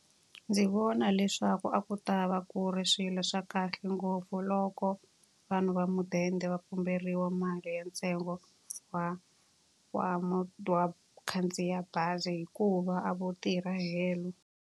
Ndzi vona leswaku a ku ta va ku ri swilo swa kahle ngopfu loko vanhu va mudende va pumberiwa mali ya ntsengo wa wa khandziya bazi hikuva a vo tirha helo.